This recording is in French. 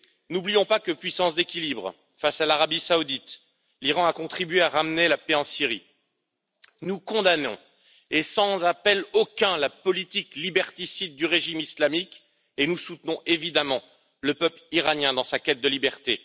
N'oublions pas que, puissance d'équilibre face à l'Arabie saoudite, l'Iran a contribué à ramener la paix en Syrie. Nous condamnons, sans appel aucun, la politique liberticide du régime islamique et nous soutenons, évidemment, le peuple iranien dans sa quête de liberté.